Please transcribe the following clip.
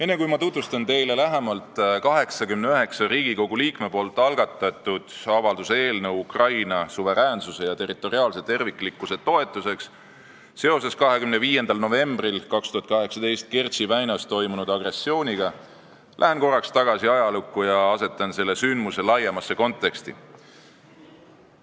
Enne, kui ma tutvustan teile lähemalt 89 Riigikogu liikme algatatud avalduse "Ukraina suveräänsuse ja territoriaalse terviklikkuse toetuseks seoses Kertši väinas toimunud agressiooniga" eelnõu, lähen korraks tagasi ajalukku ja asetan selle sündmuse laiemasse konteksti.